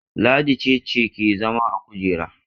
Ladi ce ce ke zama a kujera?